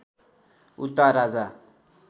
उता राजा